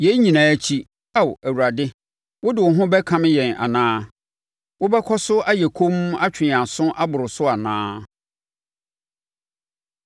Yei nyinaa akyi, Ao Awurade wo de wo ho bɛkame yɛn anaa? Wobɛkɔ so ayɛ komm atwe yɛn aso aboro so anaa?